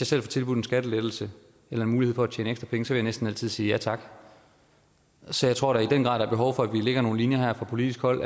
selv får tilbudt en skattelettelse eller en mulighed for at tjene ekstra penge så vil jeg næsten altid sige ja tak så jeg tror der i den grad er behov for at vi lægger nogle linjer her fra politisk hold